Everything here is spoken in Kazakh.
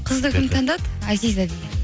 қызды кім таңдады азиза деген